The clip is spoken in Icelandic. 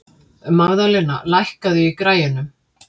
Magðalena, lækkaðu í græjunum.